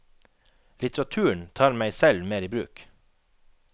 Litteraturen tar meg selv mer i bruk.